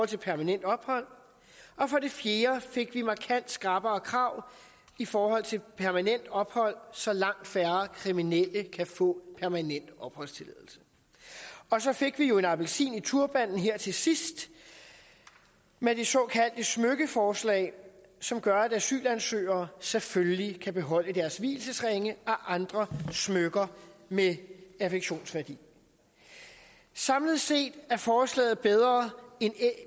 til permanent ophold og for det fjerde fik vi markant skrappere krav i forhold til permanent ophold så langt færre kriminelle kan få permanent opholdstilladelse og så fik vi jo en appelsin i turbanen her til sidst med det såkaldte smykkeforslag som gør at asylansøgere selvfølgelig kan beholde deres vielsesringe og andre smykker med affektionsværdi samlet set er forslaget bedre end